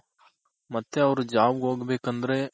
ಮತ್ತೆ ಅವ್ರು job ಹೋಗ್ಬೇಕಂದ್ರೆ